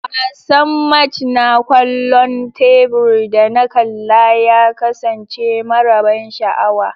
Wasan match na kwallon tebur da na kalla ya kasance mara ban sha'awa.